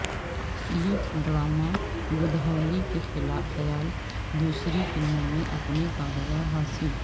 youth drama Godhuli کے خیال دوسری فلموں میں اپنے کاروبار حاصل